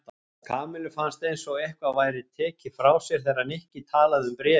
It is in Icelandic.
Kamillu fannst eins og eitthvað væri tekið frá sér þegar Nikki talaði um bréfin.